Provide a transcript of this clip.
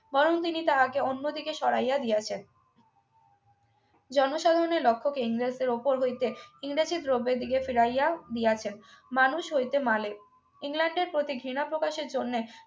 বরং তিনি তাহাকে অন্যদিকে সরাইয়া দিয়াছেন জনসাধারণের লক্ষ্য কে ইংরেজদের উপর হইতে ইংরেজি দ্রব্যের ফিরাইয়া দিয়াছেন মানুষ হইতে মালের ইংল্যান্ডের প্রতি ঘৃনা প্রকাশের জন্য